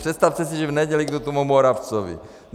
Představte si, že v neděli jdu k tomu Moravcovi.